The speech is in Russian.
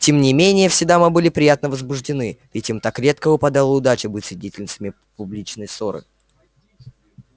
тем не менее все дамы были приятно возбуждены ведь им так редко выпадала удача быть свидетельницами публичной ссоры